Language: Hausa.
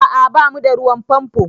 A'a ba mu da ruwan famfo